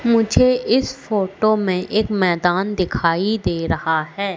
मुझे इस फोटो में एक मैदान दिखाई दे रहा है।